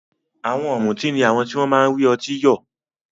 Àwọn ọ̀mùtí ni àwọn tí wọ́n máa ń rí ọtí yọ̀.